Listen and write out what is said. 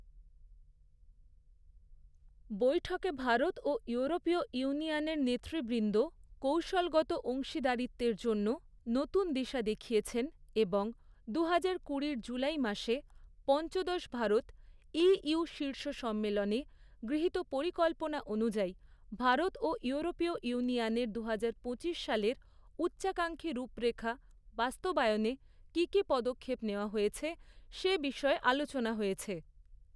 বৈঠকে ভারত ও ইউরোপীয় ইউনিয়নের নেতৃবৃন্দ কৌশলগত অংশীদারিত্বের জন্য নতুন দিশা দেখিয়েছেন এবং দুহাজার কুড়ির জুলাই মাসে পঞ্চদশ ভারত ই.ইউ শীর্ষ সম্মেলনে, গৃহীত পরিকল্পনা অনুযায়ী, ভারত ও ইউরোপীয় ইউনিয়নের দুহাজার পঁচিশ সালের উচ্চাকাঙ্ক্ষী রূপরেখা বাস্তবায়নে কী কী পদক্ষেপ নেওয়া হয়েছে, সে বিষয়ে আলোচনা হয়েছে।